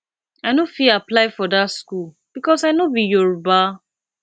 i no fit apply for that school because i no be yoruba